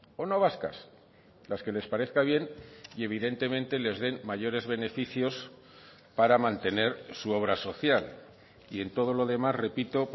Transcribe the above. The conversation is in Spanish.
o no vascas las que les parezca bien y evidentemente les den mayores beneficios para mantener su obra social y en todo lo demás repito